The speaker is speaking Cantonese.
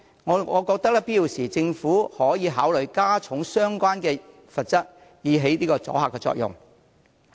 我認為在有必要時，政府可考慮加重相關罰則，以起阻嚇作用。